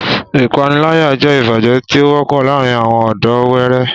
Ìpániláyà jẹ́ ìbàjẹ́ tí ó wọ́pọ̀ láàárín àwọn ọ̀dọ́ wẹẹrẹ